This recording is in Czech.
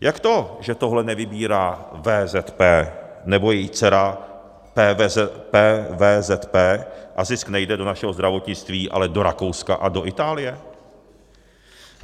Jak to, že tohle nevybírá VZP nebo její dcera PVZP a zisk nejde do našeho zdravotnictví, ale do Rakouska a do Itálie?